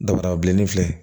Dabarabilennin filɛ